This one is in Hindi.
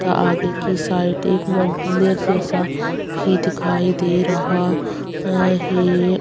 तथा आगे की साइड एक मंदिर जैसा भी दिखाई दे रहा है।